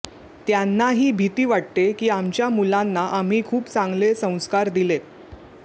त्यांनाही भीती वाटते की आमच्या मुलांना आम्ही खूप चांगले संस्कार दिलेत